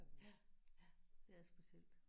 Ja ja det er specielt